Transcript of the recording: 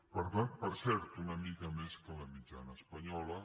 per cert una mica més que la mitjana espanyola